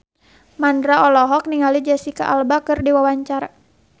Mandra olohok ningali Jesicca Alba keur diwawancara